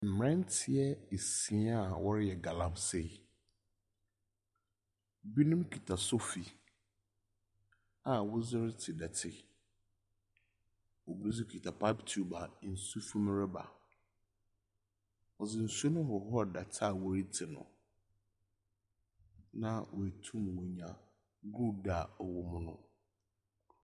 Mmranteɛ nsia a wɔreyɛ galamsee, bino kita sofi a wɔdze retse dɔtse. Bi nso kita pipe tube a nsu fi mu reba. Ɔdze nsu rehorhor dɛtse a ɔatu no na wɔtum wanya gold a ɔwɔ mu no.